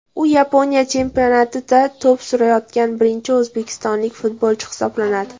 U Yaponiya chempionatida to‘p surayotgan birinchi o‘zbekistonlik futbolchi hisoblanadi.